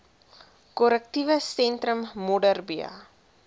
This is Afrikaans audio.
korrektiewe sentrum modderbee